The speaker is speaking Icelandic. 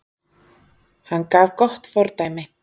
Hann gaf gott fordæmi